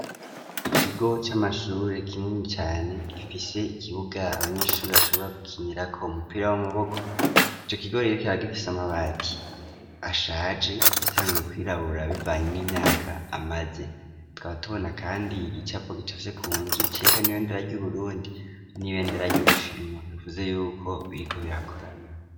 Ikigo c'amashure kinini cane, gifise ikibuga abanyeshuri bashobora gukinirako umupira w'amaboko, ico kigo rero kikaba gifise amabati ashaje yatanguye kwirabura bivanye n'imyaka amaze, tukaba tubona kandi igicapo gicafye ku nzu, cerekana ibendera ry'Uburundi, n'ibendera ry'Ubushinwa, bivuze yuko biriko birakorana.